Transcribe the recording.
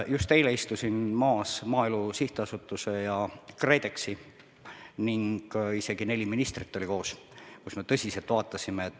Just eile kohtusime Maaelu Edendamise Sihtasutuse ja KredExiga ning isegi neli ministrit oli koos.